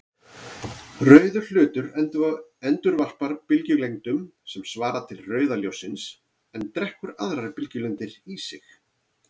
Rauður hlutur endurvarpar bylgjulengdum sem svara til rauða ljóssins en drekkur aðrar bylgjulengdir í sig.